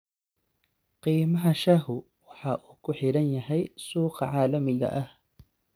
Qiimaha shaahu waxa uu ku xidhan yahay suuqa caalamiga ah.